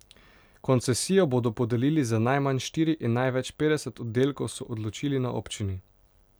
Koncesijo bodo podelili za najmanj štiri in največ petdeset oddelkov, so odločili na občini.